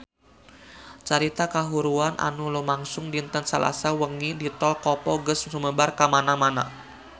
Carita kahuruan anu lumangsung dinten Salasa wengi di Tol Kopo geus sumebar kamana-mana